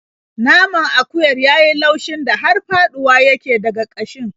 Naman akuyar ya yi laushin da har faɗuwa yake daga ƙashin.